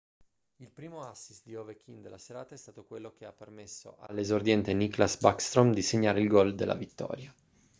il primo assist di ovechkin della serata è stato quello che ha permesso all'esordiente nicklas backstrom di segnare il gol della vittoria